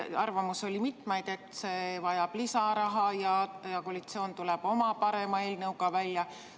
Arvamusi oli mitmeid, näiteks et see vajab lisaraha ja et koalitsioon tuleb oma parema eelnõuga välja.